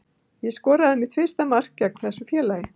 Ég skoraði mitt fyrsta mark gegn þessu félagi.